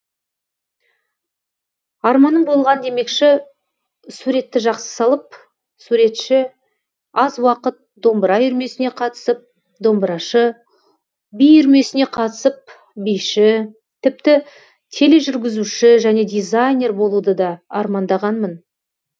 арманым болған демекші суретті жақсы салып суретші аз уақыт домбыра үйірмесіне қатысып домбырашы би үйірмесіне қатысып биші тіпті тележүргізуші және дизайнер болуды да армандағанмын